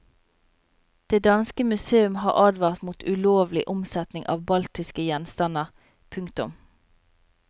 Det danske museum har advart mot ulovlig omsetning av baltiske gjenstander. punktum